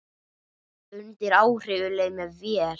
Undir áhrifum leið mér vel.